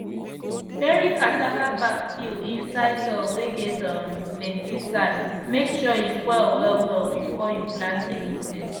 bury cassava back peel inside soil whey get um plenty sand make sure he spoil well well before you plant anything